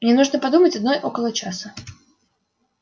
мне нужно подумать одной около часа